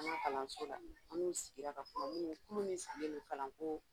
Kalanso la an n'u sigira ka kuma kulu min sigilen don kalanko